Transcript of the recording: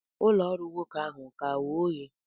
ụlọ ọrụ nwoke ahụ a-ka ghe oghe?